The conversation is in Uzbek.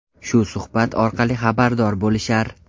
Shu suhbat orqali xabardor bo‘lishar.